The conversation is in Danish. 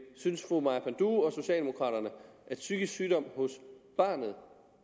synes fru maja panduro og socialdemokraterne at psykisk sygdom hos barnet